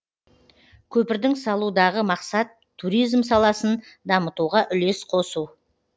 көпірдің салудағы мақсат туризм саласын дамытуға үлес қосу